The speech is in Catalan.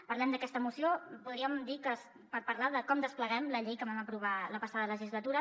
parlem d’aquesta moció podríem dir que per parlar de com despleguem la llei que vam aprovar la passada legislatura